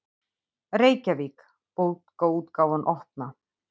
Reykjavík: Bókaútgáfan Opna.